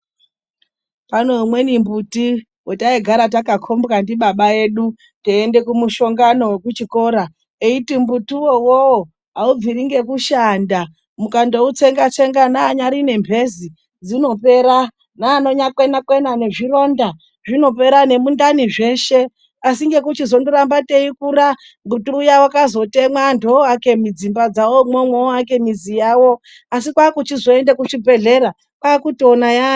Pane imweni mbiti yataigara takakhombwa ndibaba vedu teienda kumushongano kuchikora, eiti mbuti uwowo haubviri ngekushanda .mukangoutsenga- tsenga neanyari nemphezi dzinopera neanokwena kwena nezvironda zvinopera nemundani zveshe .Asi ngekuzoramba teikura muti uya wakazotemwa ,antu ovake dzimba dzavo imwomwo asi kwakuchizoenda kuzvibhedhlera kwakutoona kuti yaayo.